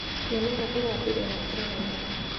Mĩmera ĩrambirie gũkũra na ihenya.